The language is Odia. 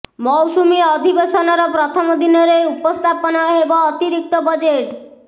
ମୌସୁମୀ ଅଧିବେଶନର ପ୍ରଥମ ଦିନରେ ଉପସ୍ଥାପନ ହେବ ଅତିରିକ୍ତ ବଜେଟ୍